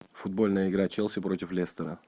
футбольная игра челси против лестера